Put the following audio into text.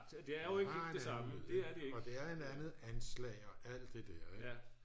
og det er et andet anslag og alt det der